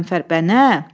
Qəzənfər, bəli.